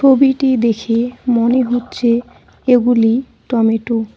ছবিটি দেখে মনে হচ্ছে এগুলি টমেটো ।